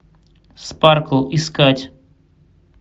спаркл искать